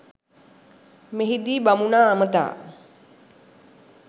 මෙහිදී බමුණා අමතා